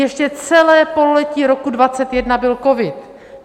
Ještě celé pololetí roku 2021 byl covid.